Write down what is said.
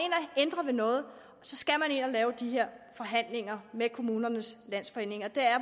ændrer ved noget så skal man ind at lave de her forhandlinger med kommunernes landsforening og det er